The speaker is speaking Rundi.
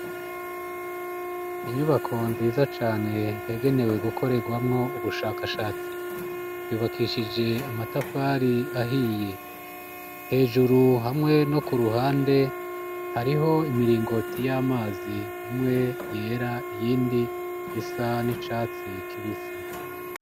Inyubako nziza cane, yagenewe gukorerwamwo ubushakashatsi, yubakishije amatafari ahiye, hejuru hamwe no ku ruhande hariho imiringoti y'amazi: imwe yera, iyindi isa n'icatsi kibisi.